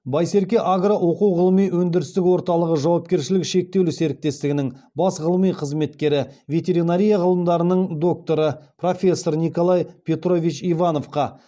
байсерке агро оқу ғылыми өндірістік орталығы жауапкершілігі шектеулі серіктестігінің бас ғылыми қызметкері ветеринария ғылымдарының докторы профессор николай петрович ивановқа